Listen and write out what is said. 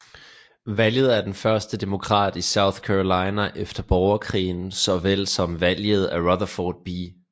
Valget af den første Demokrat i South Carolina efter borgerkrigen så vel som valget af Rutherford B